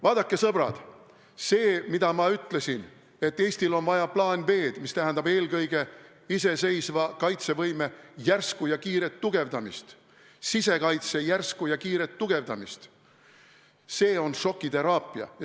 Vaadake, sõbrad, see, mida ma ütlesin, et Eestil on vaja plaani B, st eelkõige iseseisva kaitsevõime, sisekaitse järsku ja kiiret tugevdamist, on šokiteraapia.